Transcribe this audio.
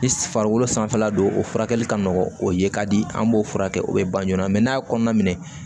Ni farikolo sanfɛla don o furakɛli ka nɔgɔn o ye ka di an b'o furakɛ o bɛ ba joona n'a ye kɔnɔna minɛ